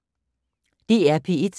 DR P1